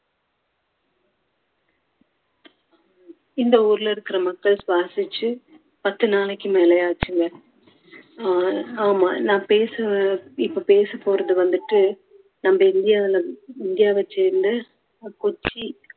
இந்த ஊருல இருக்குற மக்கள் சுவாசிச்சு பத்து நாளைக்கு மேலே ஆச்சுங்க. ஆஹ் ஆமா நான் பேச இப்போ பேசப்போறது வந்துட்டு நம்ம இந்தியாவுல இந்தியாவை சேர்ந்த கொச்சி